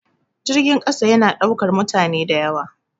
Jirgin ƙasa ya na ɗaukan mutane da yawa